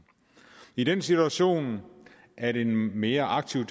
i den situation at en mere aktiv